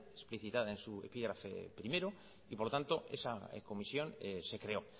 explicitada en su epígrafe primero y por lo tanto esa comisión se creó